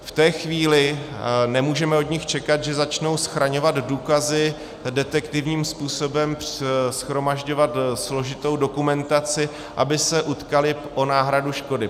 V té chvíli nemůžeme od nich čekat, že začnou schraňovat důkazy, detektivním způsobem shromažďovat složitou dokumentaci, aby se utkali o náhradu škody.